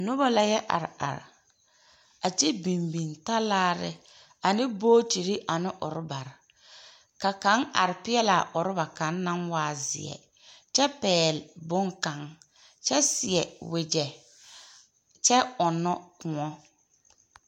Noba la yɛ are are, a kyɛ biŋ biŋ talaare ane bootiri ane orbare, ka kaŋ are peɛlaa orba kaŋ naŋ waa zeɛ, kyɛ pɛɛl boŋ kaŋ kyɛ seɛ wogyɛ, kyɛ ɔnnɔ kõɔ.